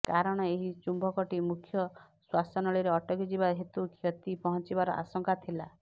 କାରଣ ଏହି ଚୁମ୍ବକଟି ମୁଖ୍ୟ ଶ୍ୱାସନଳୀରେ ଅଟକି ଯିବା ହେତୁ କ୍ଷତି ପହଞ୍ଚିବାର ଆଶଙ୍କା ଥିଲା